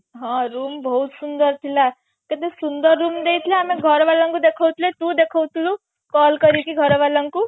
ହଁ room ବହୁତ ସୁନ୍ଦର ଥିଲା କେତେ ସୁନ୍ଦର room ଦେଇଥିଲା ଆମେ ଘର ବାଲାଙ୍କୁ ଦେଖୋଉଥିଲେ ତୁ ଦେଖୋଉଥିଲୁ call କରିକି ଘର ବାଲାଙ୍କୁ